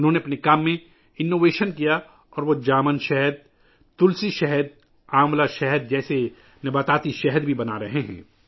انہوں نے اپنے کام میں جدت پیدا کی ہے اور وہ جامن شہد، تلسی شہد، آملہ شہد جیسے نباتاتی شہد بھی بنا رہے ہیں